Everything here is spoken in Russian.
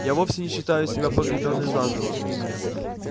я вовсе не считаю себя погребённой заживо